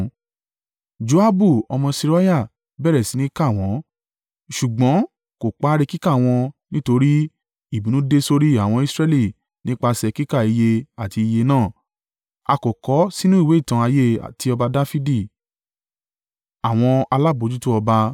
Joabu ọmọ Seruiah bẹ̀rẹ̀ sí ní kà wọ́n, ṣùgbọ́n kò parí kíkà wọ́n nítorí, ìbínú dé sórí àwọn Israẹli nípasẹ̀ kíka iye àti iye náà, a kò kọ ọ́ sínú ìwé ìtàn ayé ti ọba Dafidi.